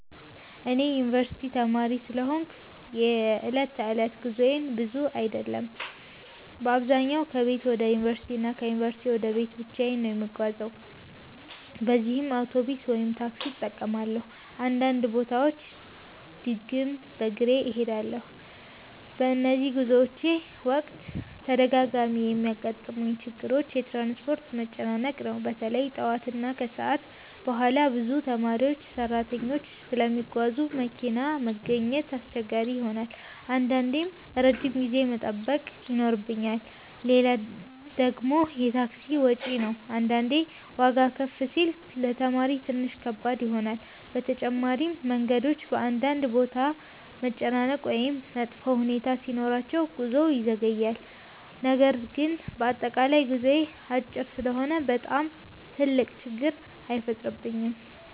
እኔ የዩንቨርሲቲ ተማሪ ስለሆንኩ የዕለት ተዕለት ጉዞዬ ብዙ አይደለም። በአብዛኛው ከቤት ወደ ዩንቨርሲቲ እና ከዩንቨርሲቲ ወደ ቤት ብቻ ነው የምጓዘው ለዚህም አውቶቡስ ወይም ታክሲ እጠቀማለሁ፣ አንዳንድ ቦታዎች ድግም በግሬ እሄዳለሁ። በነዚህ ጉዞዎቼ ወቅት በተደጋጋሚ የሚያጋጥሙኝ ችግሮች የትራንስፖርት መጨናነቅ ነው። በተለይ ጠዋት እና ከሰዓት በኋላ ብዙ ተማሪዎችና ሰራተኞች ስለሚጓዙ መኪና ማግኘት አስቸጋሪ ይሆናል አንዳንዴም ረጅም ጊዜ መጠበቅ ይኖርብኛል። ሌላ ደግሞ የታክሲ ወጪ ነው አንዳንዴ ዋጋ ከፍ ሲል ለተማሪ ትንሽ ከባድ ይሆናል። በተጨማሪም መንገዶች በአንዳንድ ቦታ መጨናነቅ ወይም መጥፎ ሁኔታ ሲኖራቸው ጉዞ ይዘገያል። ነገር ግን በአጠቃላይ ጉዞዬ አጭር ስለሆነ በጣም ትልቅ ችግር አይፈጥርብኝም።